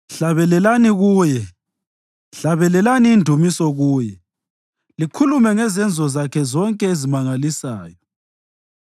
Hlabelelani kuye, hlabelelani indumiso kuye; likhulume ngezenzo zakhe zonke ezimangalisayo.